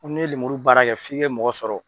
N'i ye lemuru baara kɛ f'i kɛ mɔgɔ dɔ sɔrɔ.